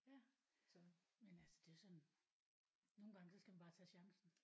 Ja men altså det er jo sådan nogle gange så skal man bare tage chancen